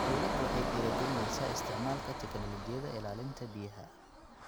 Dawladdu waxay dhiirigelinaysaa isticmaalka tignoolajiyada ilaalinta biyaha.